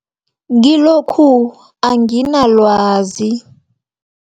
Kilokhu anginalwazi.